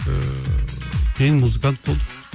ыыы кейін музыкант болдық